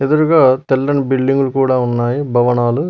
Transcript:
ఎదురుగా తెల్లని బిల్డింగ్లు కూడా ఉన్నాయి భవనాలు.